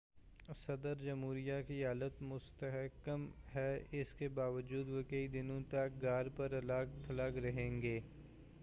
صدر جمہوریہ کی حالت مستحکم ہے اس کے باوجود وہ کئی دنوں تک گھر پر الگ تھلگ رہیں گے